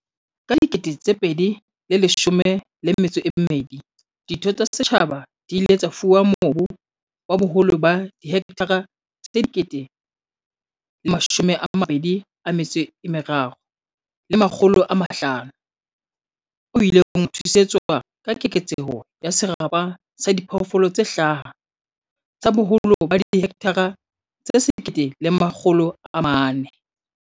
Ka 2012, ditho tsa setjhaba di ile tsa fuwa mobu wa boholo ba dihekthara tse 23 500 o ileng wa thusetswa ka keketso ya serapa sa diphoofolo tse hlaha sa boholo ba dihekthara tse 1 400.